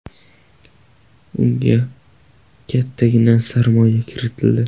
Unga kattagina sarmoya kiritildi.